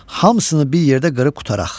Hamsını bir yerdə qırıb qurtaraq.